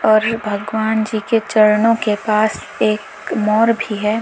भगवान जी के चरणों के पास एक मोर भी है।